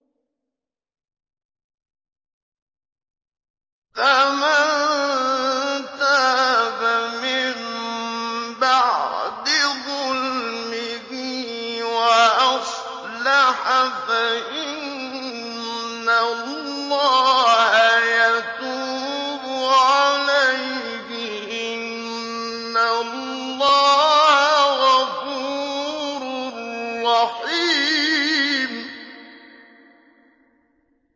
فَمَن تَابَ مِن بَعْدِ ظُلْمِهِ وَأَصْلَحَ فَإِنَّ اللَّهَ يَتُوبُ عَلَيْهِ ۗ إِنَّ اللَّهَ غَفُورٌ رَّحِيمٌ